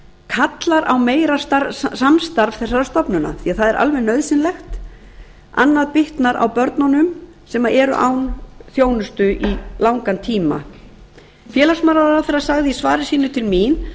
kallar á meira samstarf þessara stofnana því það er alveg nauðsynlegt annað bitnar á börnunum sem eru án þjónustu langan tíma hæstvirts félagsmálaráðherra sagði í svari sínu til mín